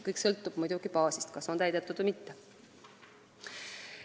Kõik sõltub muidugi baasist, kas on täidetud või mitte.